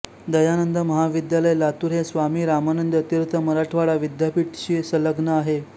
दयानंद महाविद्यालय लातूर हे स्वामी रामानंद तीर्थ मराठवाडा विद्यापीठ शी सलग्न आहे